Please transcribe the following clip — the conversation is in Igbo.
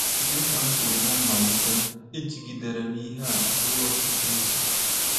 Dị ka m kwuru ná mmalite, ejigidere m ihe a ruo ọtụtụ izu.